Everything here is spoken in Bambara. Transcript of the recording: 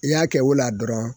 I y'a kɛ o la dɔrɔn